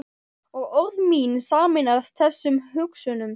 Og orð mín sameinast þessum hugsunum.